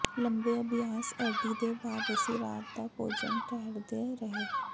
ਲੰਬੇ ਅਭਿਆਸ ਐਡੀ ਦੇ ਬਾਅਦ ਅਸੀਂ ਰਾਤ ਦਾ ਭੋਜਨ ਠਹਿਰਦੇ ਰਹੇ